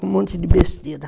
Com um monte de besteira.